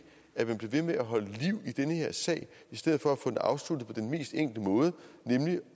at man bliver ved med at holde liv i den her sag i stedet for at få den afsluttet på den mest enkle måde nemlig